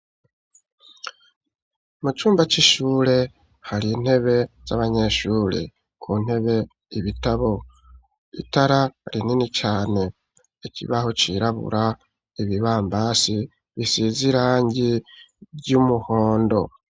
Mucumba c'ishure har'intebe z'abanyeshure, ku ntebe ibitabo, itara rinini cane, ikibaho cirabura, ibibambazi bisiz'irangi ry'umuhondo